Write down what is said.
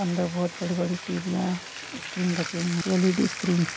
अंदर बहुत बड़ी-बड़ी टी.वी. याँ स्क्रीन रखी हुई है एल.इ.डी. स्क्रीन --